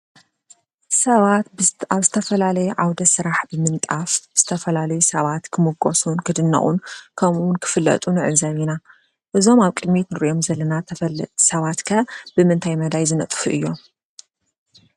ሰባት ኣብ ዝተፈላለየ ዓውደ ስራሕ ብምንጣፍ ዝተፈላለዩ ሰባት ክሙጎሱን ክድነቑን ከምኡውን ክፍለጡን ንዕዘብ ኢና፡፡ እዞም ኣብ ቅድሚት ንሪኦም ዘለና ተፈለጥቲ ሰባት ከ ብምንታይ መዳይ ዝነጥፉ እዮም?